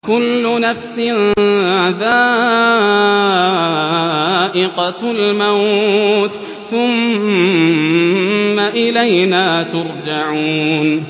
كُلُّ نَفْسٍ ذَائِقَةُ الْمَوْتِ ۖ ثُمَّ إِلَيْنَا تُرْجَعُونَ